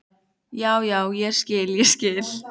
Já, já, ég skil, ég skil.